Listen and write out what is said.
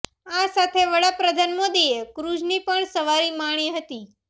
આ સાથે વડાપ્રધાન મોદીએ ક્રુઝની પણ સવારી માણી હતી